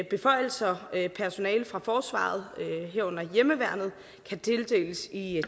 beføjelser personalet fra forsvaret herunder hjemmeværnet skal tildeles i